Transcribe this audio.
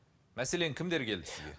мәселен кімдер келді сізге